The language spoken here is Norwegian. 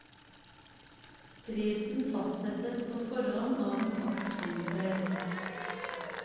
Prisen fastsettes på forhånd av en takstkomité.